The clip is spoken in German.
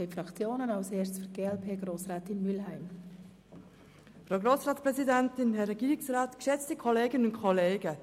Die Fraktionen haben das Wort, zuerst für die glp Grossrätin Mühlheim.